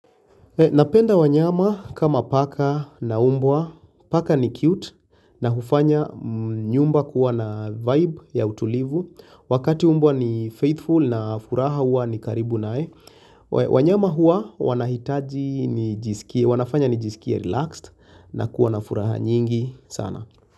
Napenda wanyama kama paka na umbwa, paka ni cute na hufanya nyumba kuwa na vibe ya utulivu, wakati umbwa ni faithful na furaha hua ni karibu nae, wanyama hua wanafanya ni jisikia relaxed na kuwa na furaha nyingi sana.